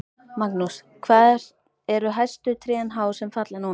Magnús: Hvað eru hæstu trén há sem falla núna?